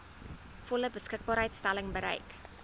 volle beskikbaarstelling bereik